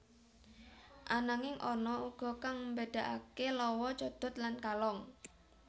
Ananging ana uga kang mbedakaké lawa codot lan kalong